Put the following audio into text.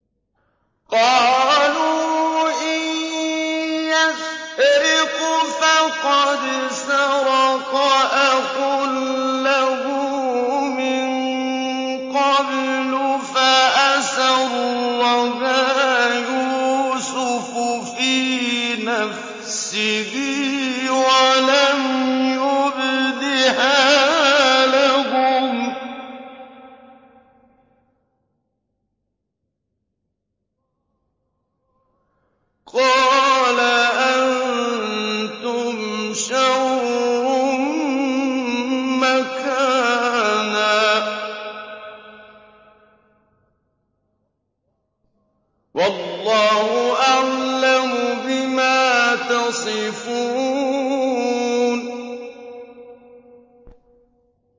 ۞ قَالُوا إِن يَسْرِقْ فَقَدْ سَرَقَ أَخٌ لَّهُ مِن قَبْلُ ۚ فَأَسَرَّهَا يُوسُفُ فِي نَفْسِهِ وَلَمْ يُبْدِهَا لَهُمْ ۚ قَالَ أَنتُمْ شَرٌّ مَّكَانًا ۖ وَاللَّهُ أَعْلَمُ بِمَا تَصِفُونَ